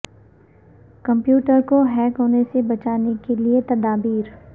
computer کو hack ہونے سے بچانے کے لیے تدابیر